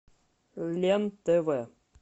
лен тв